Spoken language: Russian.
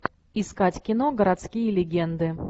искать кино городские легенды